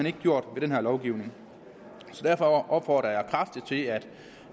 ikke gjort med den her lovgivning derfor opfordrer jeg kraftigt til at